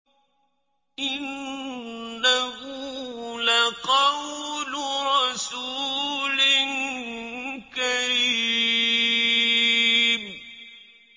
إِنَّهُ لَقَوْلُ رَسُولٍ كَرِيمٍ